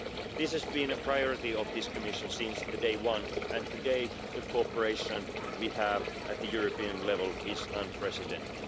This has been a priority of this Commission since day one, and today the cooperation we have at the European level is unprecedented.